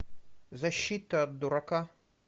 защита от дурака